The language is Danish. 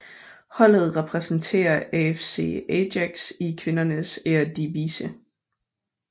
Holdet repræsenterer AFC Ajax i kvindernes Eredivisie